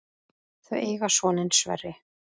Þau eiga soninn Sverri.